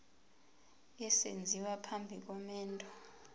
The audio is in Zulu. esenziwa phambi komendo